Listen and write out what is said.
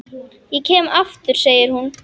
Ég kem aftur, segir hún.